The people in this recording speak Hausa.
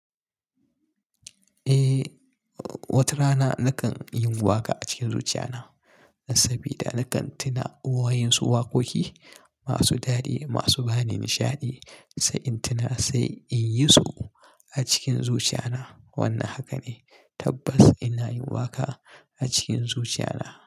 Eh, wata rana nakan yin waƙa a cikin zuciya na. Sabida nakan tuna waƴansu waƙoƙi masu daɗi masu bani nishaɗi, sai in tuna sai inyi su a cikin zuciya na. Wannan haka ne tabbas ina yin waƙa a cikin zuciya na.